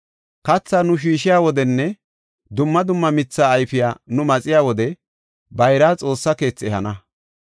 “Katha nu shiishiya wodenne dumma dumma mitha ayfiya nu maxiya wode bayraa Xoossa keethi ehana.